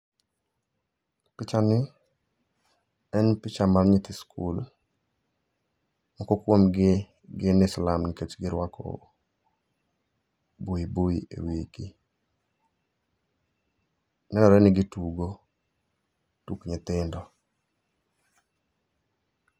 Pichani en picha mar nyithi skul. Moko kuomgi gine slum nikech girwako buibui e wigi. Nenre ni gitugo tuk nyithindo